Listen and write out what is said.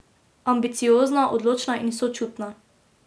Ambiciozna, odločna in sočutna.